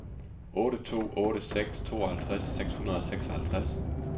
otte to otte seks tooghalvtreds seks hundrede og seksoghalvtreds